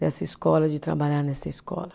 Dessa escola, de trabalhar nessa escola.